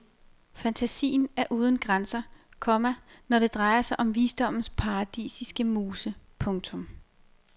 Fantasien er uden grænser, komma når det drejer sig om visdommens paradisiske muse. punktum